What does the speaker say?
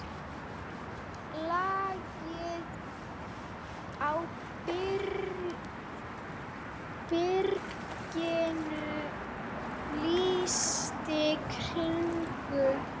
Lagið á byrginu líkist kirkju.